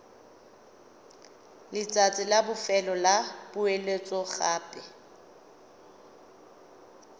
letsatsi la bofelo la poeletsogape